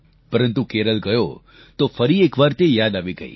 પરંતુ કેરળ ગયો તો ફરી એકવાર તે યાદ આવી ગઈ